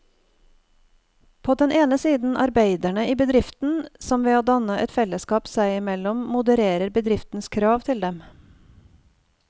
På den ene side arbeiderne i bedriften, som ved å danne et fellesskap seg imellom modererer bedriftens krav til dem.